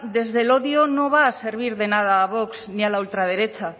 desde el odio no va a servir de nada a vox ni a la ultraderecha